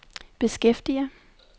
beskæftiger